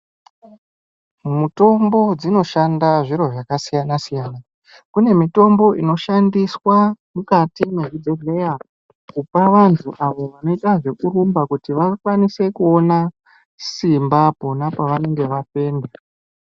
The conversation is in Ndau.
Mitombo dzinoshanda zviro zvakasiyana siyana kune mitombo inoshandiswa mukati mezvibhehleya kupavantu avo vanoita zvekurumba kuti vakwanise kuona simbapona pavanenge vafenda